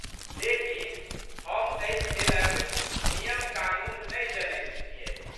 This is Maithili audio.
लेकिन, हम एहि खेलक नियमकानून नहि जनैत छियै।